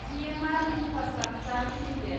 GMR infrastructure limited